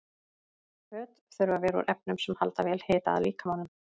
Föt þurfa að vera úr efnum sem halda vel hita að líkamanum.